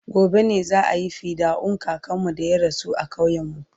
gobe ne za'ayi fidda'un kakanmu da ya rasu a ƙauyen mu